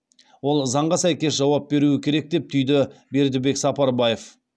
ол заңға сәйкес жауап беруі керек деп түйді бердібек сапарбаев